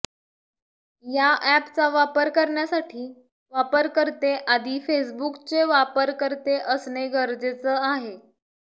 या अॅपचा वापर करण्यासाठी वापरकर्ते आधी फेसबूकचे वापरकर्ते असणं गरजेचं आहे